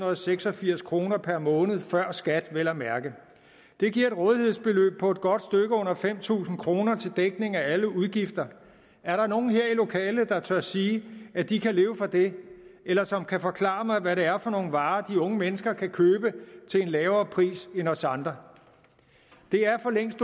og seks og firs kroner per måned før skat vel at mærke det giver et rådighedsbeløb på et godt stykke under fem tusind kroner til dækning af alle udgifter er der nogen her i lokalet der tør sige at de kan leve for det eller som kan forklare mig hvad det er for nogle varer de unge mennesker kan købe til en lavere pris end os andre det er for længst